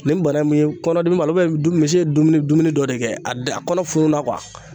Nin bana mun ye kɔnɔdimi ma misi ye dumuni dumuni dɔ de kɛ a da a kɔnɔ fununna